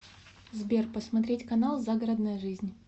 сбер посмотреть канал загородная жизнь